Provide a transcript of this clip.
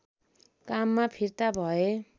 काममा फिर्ता भए